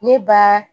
Ne ba